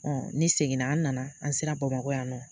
ne seginna an nana an sera bamakɔ yan nɔ